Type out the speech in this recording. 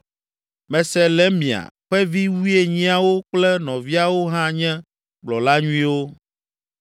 Meselemia ƒe vi wuienyiawo kple nɔviawo hã nye kplɔla nyuiwo.